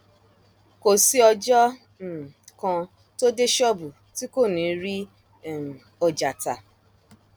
kò sí ọjọ um kan tó dé ṣọọbù tí kò ní um í rí ọjà tà